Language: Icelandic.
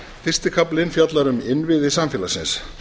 fyrsti kaflinn fjallar um innviði samfélagsins